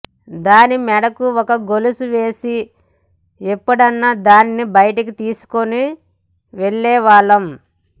దాని మెడకు ఓ గొలుసు వేసి ఎప్పుడన్నా దాన్ని బయటకు తీసుకొని వెళ్లేవాళ్లం